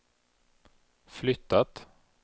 flyttat